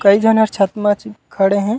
कई झन हर छत म च खड़े हे।